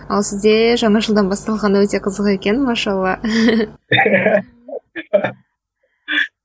ал сізде жаңа жылдан басталғаны өте қызық екен машалла